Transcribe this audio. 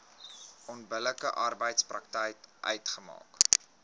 onbillike arbeidspraktyk uitmaak